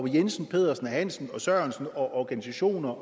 jensen pedersen hansen sørensen organisationer